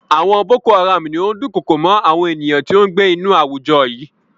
Àwọn Boko-Haram ni ó dukoko mọ́ àwọn ènìyàn tó ń gbé inú àwùjọ yìí.